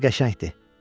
Adı qəşəngdir.